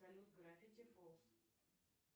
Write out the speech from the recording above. салют гравити фолз